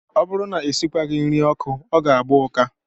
Ọ bụrụ na e sikwaghị nri n'ọkụ, ọ ga-agba ụka